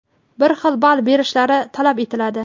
bir xil ball berilishi talab etiladi.